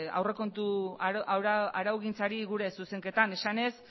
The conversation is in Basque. aurrekontu araugintzari gure zuzenketan esanez